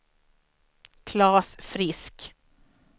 Claes Frisk